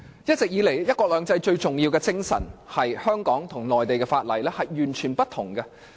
一直以來，"一國兩制"最重要的精神是香港和內地各有不同的法律。